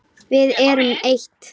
Við erum eitt.